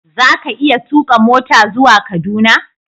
Za ka iya tuka mota zuwa Kaduna?